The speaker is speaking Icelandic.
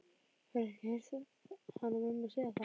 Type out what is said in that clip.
Hefurðu ekki heyrt hana mömmu segja það?